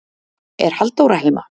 er halldóra heima